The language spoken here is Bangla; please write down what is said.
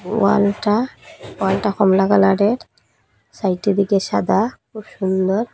ওয়ালটা ওয়ালটা কমলা কালারের সাইটের দিকে সাদা খুব সুন্দর।